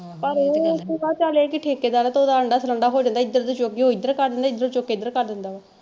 ਪਰ ਇਹ ਤਾ ਗੱਲ ਹੈ, ਚਲ ਠੇਕੇਦਾਰ ਹੈ ਤੇ ਓਹਦਾ ਆਂਡਾ ਸਰਾਂਡਾ ਹੋ ਜਾਂਦਾ ਏਧਰ ਦਾ ਚੁੱਕ ਕੇ ਉਹ ਏਧਰ ਕਰ ਦਿੰਦੇ ਏਧਰੋਂ ਚੁੱਕ ਕੇ ਏਧਰ ਕਰ ਦਿੰਦਾ ਵਾ।